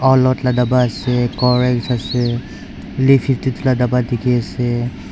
bapa ase ors ase le la dapa dikhiase.